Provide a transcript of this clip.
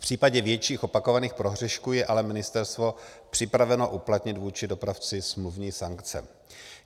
V případě větších opakovaných prohřešků je ale ministerstvo připraveno uplatnit vůči dopravci smluvní sankce.